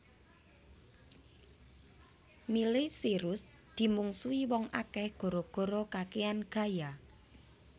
Miley Cyrus dimungsuhi wong akeh gara gara kakean gaya